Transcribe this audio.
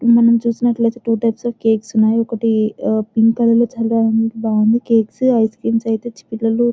మనం చూస్తున్నట్లయితే two types of cakes ఉన్నాయి. ఒకటి పింక్ కలర్ లో చాలా బాగుంది. కేకుఐస్ క్రీమ్స్ అయితే చిన్న పిల్లలు--